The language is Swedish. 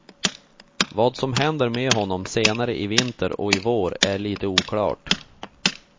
Vad som händer med honom senare i vinter och i vår är lite oklart.